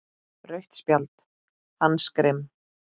Rautt spjald: Hannes Grimm.